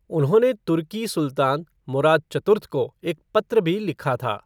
उन्होंने तुर्की सुल्तान, मुराद चतुर्थ को एक पत्र भी लिखा था।